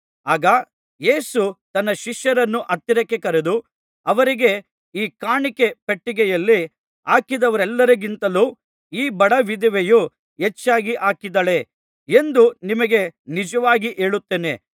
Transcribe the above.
ಆಗ ಯೇಸು ತನ್ನ ಶಿಷ್ಯರನ್ನು ಹತ್ತಿರಕ್ಕೆ ಕರೆದು ಅವರಿಗೆ ಈ ಕಾಣಿಕೆ ಪೆಟ್ಟಿಗೆಯಲ್ಲಿ ಹಾಕಿದವರೆಲ್ಲರಿಗಿಂತಲೂ ಈ ಬಡ ವಿಧವೆಯು ಹೆಚ್ಚಾಗಿ ಹಾಕಿದ್ದಾಳೆ ಎಂದು ನಿಮಗೆ ನಿಜವಾಗಿ ಹೇಳುತ್ತೇನೆ